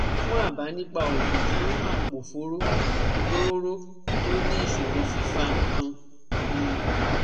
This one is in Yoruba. Fún àbá nípa oògùn fún àpòfóró tóóró tó ní ìṣòro fífa nǹkan mu